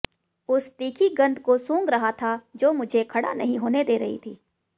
उस तीखी गंध को सूंघ रहा था जो मुझे खड़ा नहीं होने दे रही थी